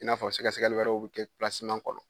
I n'a fɔ sɛgɛsɛgɛli wɛrɛw bɛ kɛ kɔnɔ.